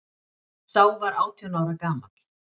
Sá var átján ára gamall